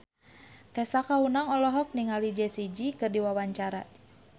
Tessa Kaunang olohok ningali Jessie J keur diwawancara